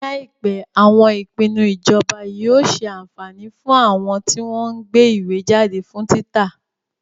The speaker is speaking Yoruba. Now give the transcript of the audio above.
Ní àìpé, àwọn ìpinnu ìjọba yóò ṣe àǹfání fún àwọn tí wọ́n ń gbé ìwé jáde fún títa.